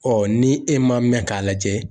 ni e ma mɛn k'a lajɛ